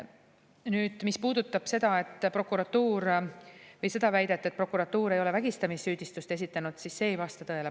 Nüüd, mis puudutab seda väidet, et prokuratuur ei ole vägistamissüüdistust esitanud, siis see ei vasta tõele.